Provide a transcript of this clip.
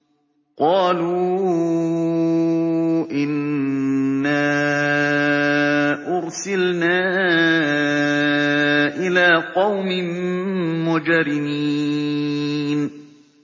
قَالُوا إِنَّا أُرْسِلْنَا إِلَىٰ قَوْمٍ مُّجْرِمِينَ